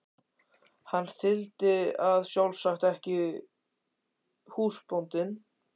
Hann þyldi það sjálfsagt ekki, húsbóndinn.